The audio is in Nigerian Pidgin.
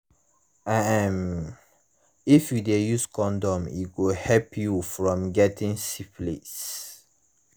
um if u de use condom e go help u from getting syphilis